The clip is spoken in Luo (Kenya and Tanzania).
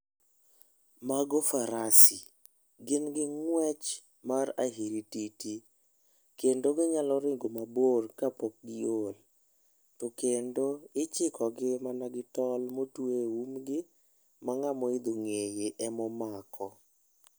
Mago farasi. Gin gi ng'wech mar ahirititi, kendo ginyalo ringo mabor kapok giol. To kendo ichikogi mana gi tol motwe e umgi, ma ng'ama oidho ng'eye emomako.